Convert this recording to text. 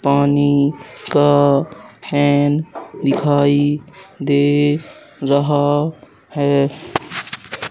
पानी का फैन दिखाई दे रहा है।